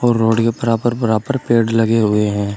और रोड बराबर बराबर पेड़ लगे हुए हैं।